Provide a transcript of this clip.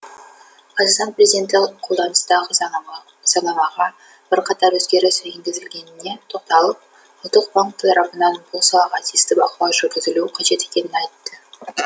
қазақстан президенті қолданыстағы заңнамаға бірқатар өзгеріс енгізілгеніне тоқталып ұлттық банк тарапынан бұл салаға тиісті бақылау жүргізілуі қажет екенін айтты